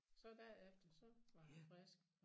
Så dag efter så var han frisk